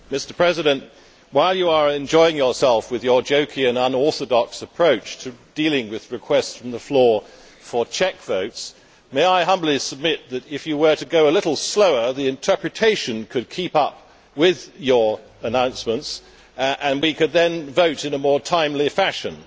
Mr President, while you are enjoying yourself with your jokey and unorthodox approach to dealing with requests from the floor for check votes, may I humbly submit that, if you were to go a little slower, the interpretation could keep up with your announcements, and we could then vote in a more timely fashion.